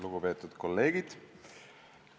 Lugupeetud kolleegid!